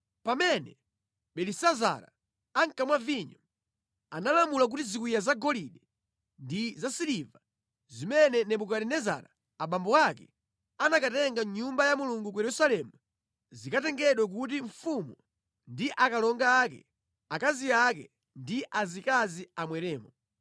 Pamene Belisazara ankamwa vinyo, analamula kuti ziwiya zagolide ndi zasiliva zimene Nebukadinezara abambo ake anakatenga mʼNyumba ya Mulungu ku Yerusalemu zikatengedwe kuti mfumu ndi akalonga ake, akazi ake ndi azikazi amweremo.